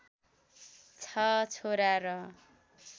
छ छोरा र